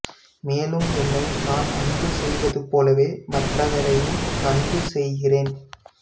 மேலும் என்னை நான் அன்பு செய்வது போல மற்றவரையும் அன்பு செய்கிறேன்